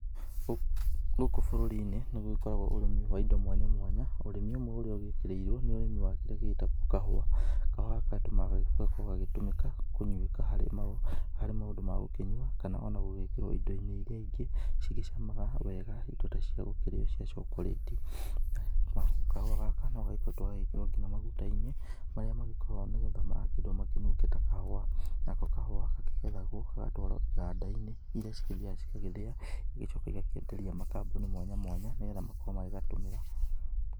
Gũkũ bũrũri-inĩ nĩ gũgĩkoragwo ũrĩmi wa indo mwanya mwanya ũrĩmi ũmwe ũrĩa ũgũkĩrĩirwo nĩ ũrĩmi wa kĩrĩa gĩgĩtagwo kahũa. Kahũa gaka gagĩkoragwo gagĩtũmĩka kũnyuĩka harĩ maũndũ ma gũkĩnyua kana ona gũgĩkĩrwo indo-inĩ iria ingĩ cigĩcamaga wega indo ta cia gũkĩrĩo cia cokorĩti. Na kahũa gaka no gagĩkoretwo gagĩkĩrwo ngina maguta-inĩ marĩa magĩkoragwo nĩ getha magakĩendwo makĩnunge ta kahũa. Nako kahũa gakĩgethagwo, gagatwarwo kĩganda-inĩ iria cigĩthiaga cigagĩthĩa cigacoka igakĩenderia makambuni mwanya mwanya nĩ getha makorwo magĩgatũmĩra.